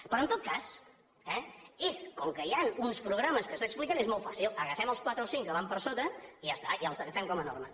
però en tot cas eh com que hi han uns programes que s’expliquen és molt fàcil agafem els quatre o cinc que van per sota i ja està i els agafem com a norma